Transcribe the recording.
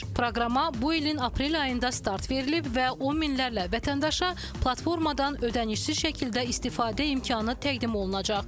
Proqrama bu ilin aprel ayında start verilib və on minlərlə vətəndaşa platformadan ödənişsiz şəkildə istifadə imkanı təqdim olunacaq.